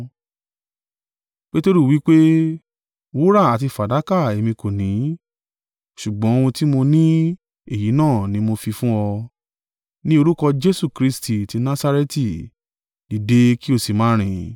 Peteru wí pé, “Wúrà àti fàdákà èmi kò ní, ṣùgbọ́n ohun tí mo ní èyí náà ni mo fi fún ọ. Ní orúkọ Jesu Kristi ti Nasareti, dìde kí o sì máa rìn.”